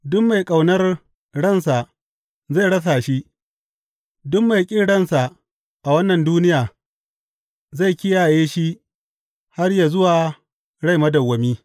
Duk mai ƙaunar ransa, zai rasa shi, duk mai ƙin ransa a wannan duniya, zai kiyaye shi har yă zuwa rai madawwami.